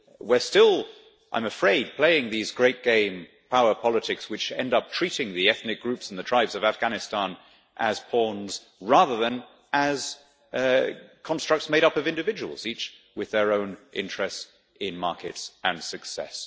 We are still, I am afraid, playing these Great Game power politics which end up treating the ethnic groups and the tribes of Afghanistan as pawns rather than as constructs made up of individuals, each with their own interests in markets and success.